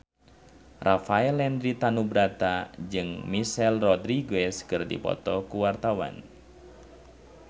Rafael Landry Tanubrata jeung Michelle Rodriguez keur dipoto ku wartawan